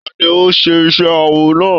Ta ní o n ṣe iṣẹ awọ náà?